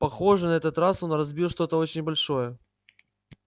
похоже на этот раз он разбил что-то очень большое